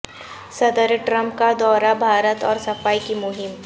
صدر ٹرمپ کا دورہ بھارت اور صفائی کی مہم